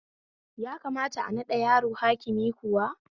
Ya kamata a naɗa yaro hakimi kuwa?